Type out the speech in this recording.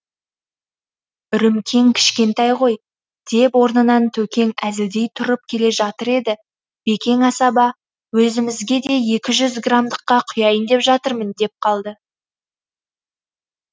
үрімкең кішкентай ғой деп орнынан төкең әзілдей тұрып келе жатыр еді бекең асаба өзімізге де екі жүз грамдыққа құяйын деп жатырмын деп қалды